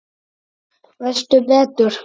Veistu betur?